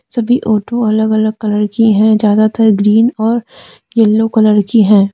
सभी आटो अलग अलग कलर की हैं ज्यादातर ग्रीन और येलो कलर की हैं।